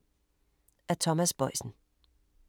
Af Thomas Boisen